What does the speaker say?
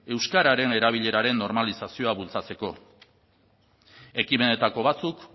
euskararen erabileraren normalizazioa bultzatzeko ekimenetako batzuk